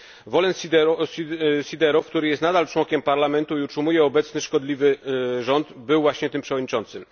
Wolen Siderow, który jest nadal członkiem parlamentu i utrzymuje obecny szkodliwy rząd, był właśnie tym przewodniczącym.